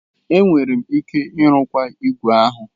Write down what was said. Enwere m ike ịrụkwa ígwè ahụ.